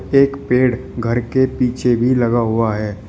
एक पेड़ घर के पीछे भी लगा हुआ है।